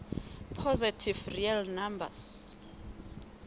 positive real numbers